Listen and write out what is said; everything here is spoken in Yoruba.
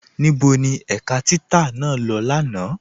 Níbo ni ẹ̀ká títà naa lọ́ lánà?